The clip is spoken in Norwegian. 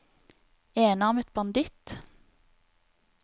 enarmet banditt